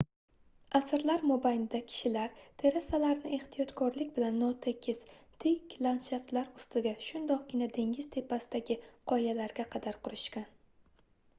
asrlar mobaynida kishilar terasalarni ehtiyotkorlik bilan notekis tik landshaftlar ustida shundoqqina dengiz tepasidagi qoyalarga qadar qurishgan